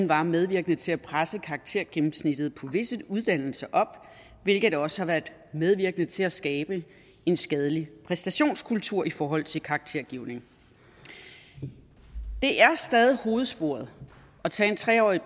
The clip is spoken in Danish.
var medvirkende til at presse karaktergennemsnittet på visse uddannelser op hvilket også har været medvirkende til at skabe en skadelig præstationskultur i forhold til karaktergivning det er stadig hovedsporet at tage en tre årig